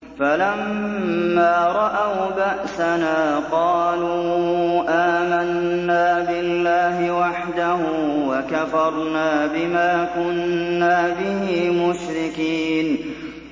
فَلَمَّا رَأَوْا بَأْسَنَا قَالُوا آمَنَّا بِاللَّهِ وَحْدَهُ وَكَفَرْنَا بِمَا كُنَّا بِهِ مُشْرِكِينَ